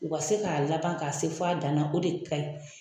U ka se ka laban ka se f'a dan na . O de ka ɲi.